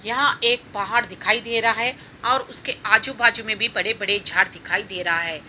यहाँ एक पहाड़ दिखाई दे रहा है और उस के आजू बाजू मे भी बड़े बड़े झाड दिखाई दे रहा है ।